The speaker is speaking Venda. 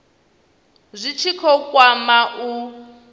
zwi tshi khou kwama u